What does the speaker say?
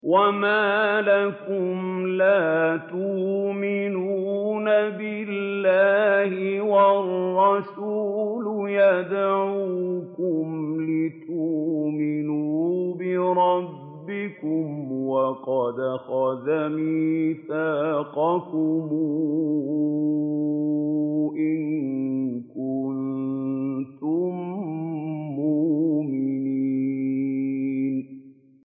وَمَا لَكُمْ لَا تُؤْمِنُونَ بِاللَّهِ ۙ وَالرَّسُولُ يَدْعُوكُمْ لِتُؤْمِنُوا بِرَبِّكُمْ وَقَدْ أَخَذَ مِيثَاقَكُمْ إِن كُنتُم مُّؤْمِنِينَ